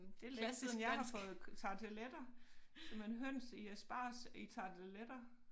Det længe siden jeg har fået tarteletter simpelthen høns i asparges i tarteletter